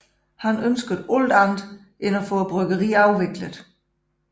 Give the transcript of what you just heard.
Han ønskede også alt andet end bryggeriet afviklet